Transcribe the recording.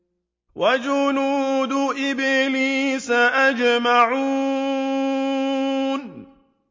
وَجُنُودُ إِبْلِيسَ أَجْمَعُونَ